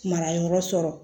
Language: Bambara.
Mara yɔrɔ sɔrɔ